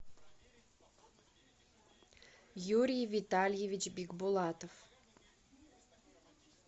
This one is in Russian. юрий витальевич бикбулатов